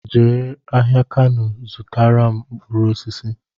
Jee ahịa Kano zụtara m mkpụrụ osisi!